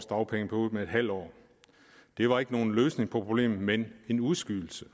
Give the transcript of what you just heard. dagpengeperiode med et halvt år det var ikke nogen løsning på problemet men en udskydelse